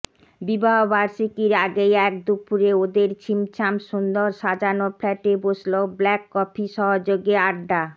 বিবাহবার্ষিকীর আগেই এক দুপুরে ওঁদের ছিমছাম সুন্দর সাজানো ফ্ল্যাটে বসল ব্ল্যাক কফি সহযোগে আড্ডা